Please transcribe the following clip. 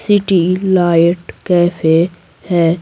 City light cafe है।